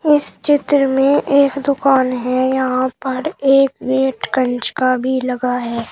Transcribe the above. इस चित्र में एक दुकान है यहां पर एक गेट कंच का भी लगा है।